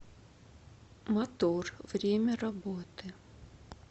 мотор время работы